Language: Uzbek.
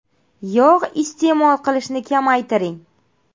Yog‘ iste’mol qilishni kamaytiring.